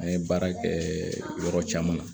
An ye baara kɛɛ yɔrɔ caman